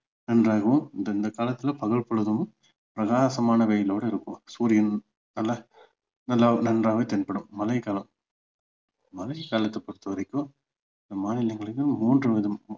நன்றாகவும் இந்த இந்த காலத்துல பகல் பொழுதும் பிரகாசமான வெயிலோட இருக்கும் சூரியன் நல்லா நல்லா நன்றாக தென்படும் மழைகாலம் மழை காலத்தை பொறுத்த வரைக்கும் மூன்று விதமான